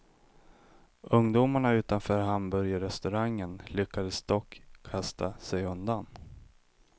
Ungdomarna utanför hamburgerrestaurangen lyckades dock kasta sig undan.